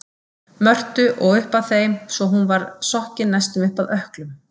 Mörtu og upp að þeim svo hún var sokkin næstum upp að ökklum.